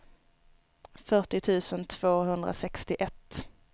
fyrtio tusen tvåhundrasextioett